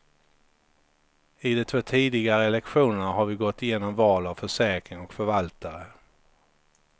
I de två tidigare lektionerna har vi gått igenom val av försäkring och förvaltare.